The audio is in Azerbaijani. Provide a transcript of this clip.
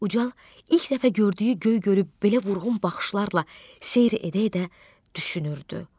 Ucal ilk dəfə gördüyü Göygölü belə vurğun baxışlarla seyr edə-edə düşünürdü.